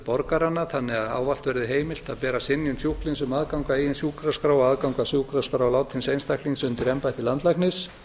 borgaranna þannig að ávallt verði heimilt að bera synjun sjúklings um aðgang að eigin sjúkraskrá og aðgang að sjúkraskrá látins einstaklings undir embætti landlæknis